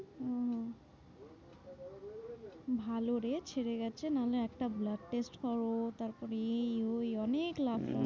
ওহ ভালো রে ছেড়ে গেছে নাহলে একটা blood test করো তারপরে এই ওই অনেক লাগতো।